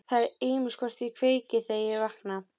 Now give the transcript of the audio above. Það er ýmist hvort ég kveiki, þegar ég vakna.